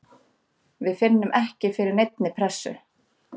Við finnum ekki fyrir neinni pressu.